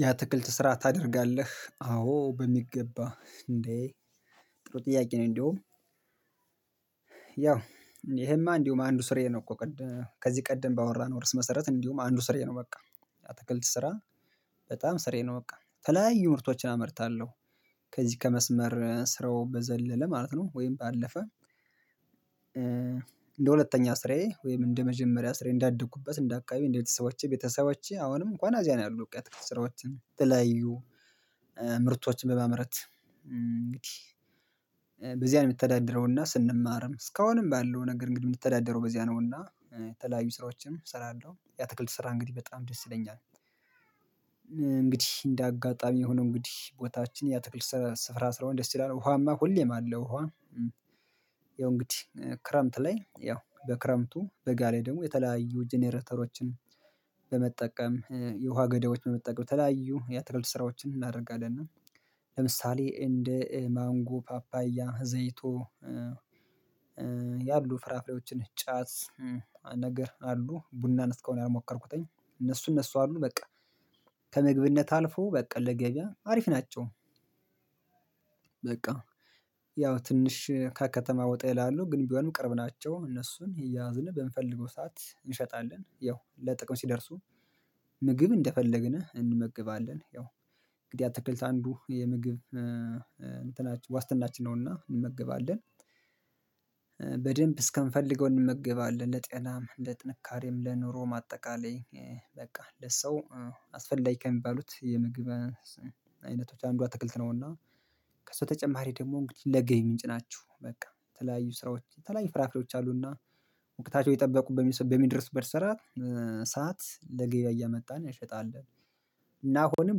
ያ አትክልት ስራ ታደርጋለህ? አዎ በሚገባ እንዴ ጥሩ ጥያቄ ነው። እንደውም ያው ይሄማ እንድሁ አንዱ ሥርዬ ነው። እኮ ከዚህ ቀደም ባወራነው እርዕስ መሰረት አንዲሁ አንዱ ስርየ ነው። በቃ አትክልት ስራ በጣም ሥርዬ ነው በቃ የተለያዩ ምርቶችን አመርታለሁ። ከዚህ ከመስመር ስራው በዘለለ ማለት ነው ወይም ባለፈ። እንደ ሁለተኛ ስራዬ ወይም እንደ መጀመሪያ ስራዬ እንዳደግኩበት እንዳደኩበት እንደ አከባቢ ቤተሰቦቼ ቤተሰቦቼ አሁንም እንከዋን እዚያ ነው። ያሉት ውቀት ስራዎችን የተለያዩ ምርቶችን በማምረት እንግዲህ። በዚያ ነው የምተዳደረውና ስንማርም እስካሁንም ባለው ነገር እንግዲህ የምንተዳደረው በዚያ ነውና የተለያዩ ስራዎችም እሰራለሁ ያ አትክልት ስራ እንግዲህ በጣም ደስ ይለኛል። እንግዲህ እንደ አጋጣሚ ሆኖ እንግዲህ ቦታችን የአትክልት ስፍራ ስለሆነ ደስ ይላል ውሃማ ሁሌም አለው ውሃ። ያው እንግዲህ ክረምት ላይ ያው በክረምቱ በጋለ ላይ ደግሞ የተለያዩ ጀነረተሮችን በመጠቀም የውሃ ገዳዮችን በመጠቀም የአትክልት ስራዎችን አናደርጋለን። ለምሳሌ እንደ ማንጎ ፓፓያ ዘይቶ። ያሉት ፍራፍሬዎችን ጫት ነገር አሉ ቡና ነው እስካሁን ያልሞከርቁትኝ እነሱ እነሱ አሉ በቃ ከምግብነት አልፎ በቃ ለገበያ አሪፍ ናቸው። በቃ ያው ትንሽ ከከተማ ወጣ ይላሉ ግን ቢሆንም ቅርብ ናቸው እነሱን አያዥን በምፈልገው ሰዓት እንሻታለን ያው ለጥቅም ሲደርሱ። ምግብ እንደፈለግን እንመግባለን ያው እንግዲህ አትክልት አንዱ የምግብ እንትናችን ዋስትናችን ነውና እንመገባለን። በደንብ እስከምፈልገው እንመገባለን ለጤናም ለጥንካሬም ለኑሮ አጠቃለይ በቃ ለሰው አስፈላጊ ከምባሉት የምግብ አይነቶች አንዱ አትክልት ነውና። ከሰው ተጨማሪ ደግሞ እንግዲህ ለገባ ምንጭ ናችሁ በቃ የተለያዩ ስራዎች የተለያዩ ፍራፍሮች አሉና። ወቅታቸው የተበቁበት በምድረሱ በምደርሱበት ሰዓት ሰዓት ለገበያ እያመጣን እንሻጣለን። እና አሁንም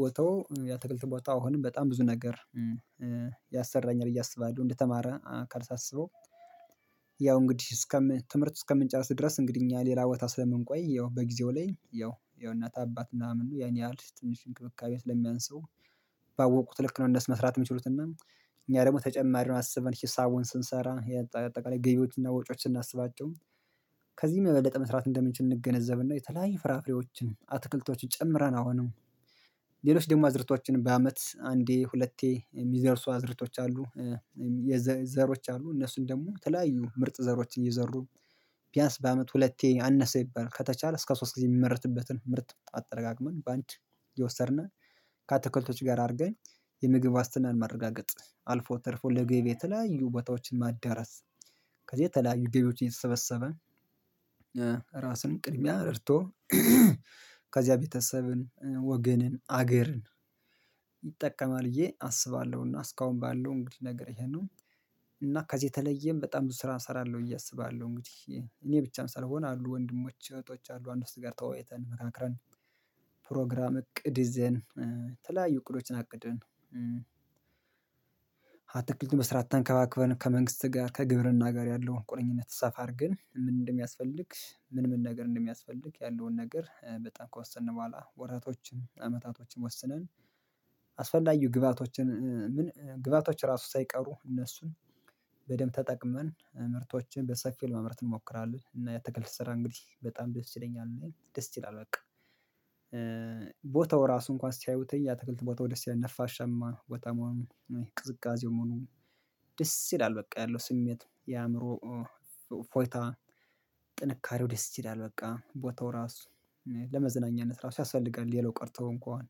ቦታው የአትክልት ቦታው አሁንም በጣም ብዙ ነገር ያሰራኛል ብዬ አስባለው አንደተማረ አካል ሳስበው። ያው እንግዲህ አስከ ትምህርት እስከምንጨርስ ድረስ እንግዲህ እኛ ሌላ ቦታ ስለምንቆይ ያው በጊዜው ላይ ያው የእናት አባት ምናምን ያን ያህል ትንሽ እንክብካቤ ስለሚያንሰው። ባወቁት ልክ ነው እንደሱ መስራት የሚችሉትና። እኛ ደግሞ ተጨማሪውን አስበን ሂሳቡን ስንሰራ በአጠቃላይ ገቢዎችን እና ወጪዎችን ስናስባቸው። ከዚህ የበለጣ መስራት እንደምንችል እንገነዘብና የተለያዩ ፍራፍሬዎችን አትክልቶችን ጨምረን አሁንም ሌሎች ደግሞ አዝርቶችን በአመት አንዴ ሁለቴ የሚደርሱ አዝርቶች አሉ። የዘ ዘሮች አሉ እነሱን ደግሞ ተለያዩ ምርጥ ዘሮችን እየዘሩ ቢያንስ በአመት ሁለቴ አነሰ ቢባል ከተቻለ እስከ ሶስት ጊዜ የሚመረትበትን ምርት አትረቃክመን በአንድ የወሰድን ከአትከልቶች ጋር አድርገን የምግብ ዋስትናን ማረጋገጥ አልፎ ተርፎ ለገበያ የተለያዩ ቦታዎችን ማዳረስ። ከዚህ የተለያዩ ገብዎች እየተሰበሰበ ራስን ቅድሚያ ረድቶ ከዚያ ቤተሰብን ወገንን አገርን ይጠቀማል ብዬ አስባለሁና እስካሁን ባለው እንግዲህ ነገር ይሄ ነው። እና ከዚህ የተለየም በጣም ብዙ ስራ እሰራለሁ ብዬ አስባለሁ እንግዲህ። እኔ ብቻ ሳልሆን አሉ ወንድሞች እህቶች አሉ ከእነረሱ ጋር ተወያይተን ተመካክረን። ፕሮግራም እቅድ ይዘን የተለያዩ እቅዶችን አቅደን። አትክልቱን በስርዓት ተንከባክበን ከመንግስት ጋር ከግብርና ጋር ያለውን ቁርኝነት ሰፋ አድርገን ምን እንደሚያስፈልግ ምን ምን ነገር እንደሚያስፈልግ ያለውን ነገር በጣም ከወሰንን በህዋላ ወረቶችን አመታቶችን ወስነን። አስፈላጊው ግብአቶችን ግብአቶች ራሱ ሳይቀሩ እነሱን በደንብ ተጠቅመን ምርቶችን በሰፊው ለመምረት እንሞክራለን። እና የአትክልት ሰራ እንግዲህ በጣም ደስ ይለኛል ደስ ይላል በቃ። ራሱ እንከዋን ሲያዩት የአትክልት ቦታው ደስ ይላል ነፋሻማ ነው ቦታው። ቅዝቃዜው መሆኑ ደስ ይላል በቃ ያለው ስሜት የአአምሮ እፎይታ። ጥንካሬው ደስ ይላል በቃ ቦታው ራሱ ለመዝናኛነት ራሱ ያስፈልጋል። ሌላው ቀርተው እንከዋን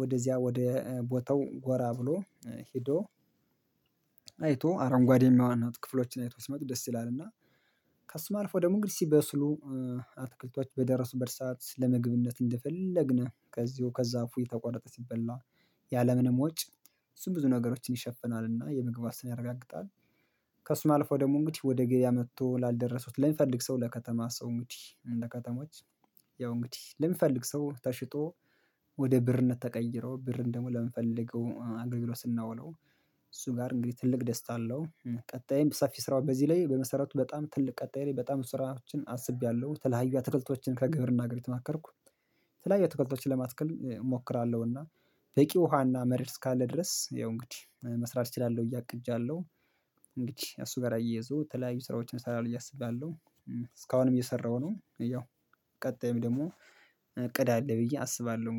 ወደዚያ ወደ ቦታው ጎራ ብሎ ሄዶ። አረንጉዋዴ የሆኑ ክፍሎችን አይቶ ሲመጡ ደስ ይላል። እና ከሱም አልፎ ደግሞ እንግዲህ ስበስሉ አትክልቶች በደረሱበት ሰዓት ለምግብነት እንደፈለግነው ከዚሁ ከዛፉ እየተቋረጠ ሲበላ። ያለምንም ወጭ እሱ ብዙ ነገሮችን ይሻፍናልና የምግብ ዋስትና ያረጋግጣል። ከእሱ አልፎ ደግሞ እንግዲህ ወደ ግብያ መጥቶ ላልደረሱት ለሚፈልግ ሰው ለከተማ ሰው እንግዲህ ለከተማዎች ያው እንግዲህ ለሚፈልግ ሰው ተሽጦ። ወደ ብርነት ተቀይረው ብርም ደግሞ ለምንፈልገው አገልግሎት ስናውለው። እሱ ጋር እንግዲህ ትልቅ ደስታ አለው። ቀጣይም ሰፊ ስራ በዚህ ላይ በመሰረቱ በጣም ትልቅ ቀጣይ በጣም ስራዎችን አስቤያለሁ የተለያዩ አትክልቶችን ከግብርና ጋር እየተማከርኩ የተለያዩ አትክልቶችን ለማትከል እሞክራለሁና። በቂ ውሃና መሬት ካለ ድረስ ያው እንግዲህ መስራት እችላለሁ ብዬ አቅጀለው። እንግዲህ እሱ ጋር አየይዞ የተለያዩ ስራዎችን ሰራለው ብዬ አስባለው። እስካሁንም እየሰራሁ ነው። ያው ቀጣይም ደግሞ እቅድ አለ ብዬ አስባለሁ